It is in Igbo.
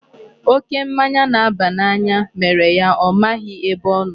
Oké mmanya na-aba n'anya mere ya ọ maghị ebe ọ nọ.